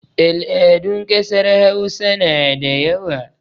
Al'adun ƙasar Hausa na da yawa.